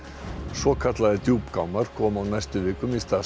svokallaðir koma á næstu vikum í stað